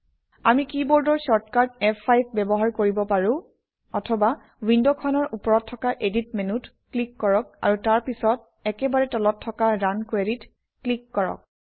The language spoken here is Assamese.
আমি কিবৰ্দৰ শ্বৰ্টকাট ফ5 ব্যৱহাৰ কৰিব পাৰোঁ অথবা উইণ্ডখনৰ ওপৰত থকা এডিট মেনুত ক্লিক কৰক আৰু তাৰ পিছত একেবাৰে তলত থকা ৰুণ Query ত ক্লিক কৰক